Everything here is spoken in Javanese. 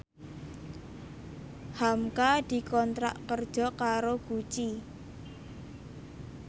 hamka dikontrak kerja karo Gucci